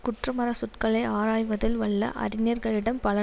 குற்றமறச்சொற்களை ஆராயவதில் வல்ல அறிஞர்களிடத்தில் பல